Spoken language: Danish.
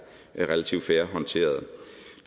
relativt fair håndteret